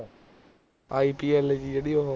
i p l ਜੀ ਜਿਹੜੀ ਉਹ